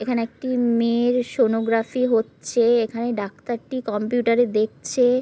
এখানে একটি মেয়ের সোনোগ্রাফি হচ্ছে-- এখানে ডাক্তারটি কম্পিউটারে দেখছে ।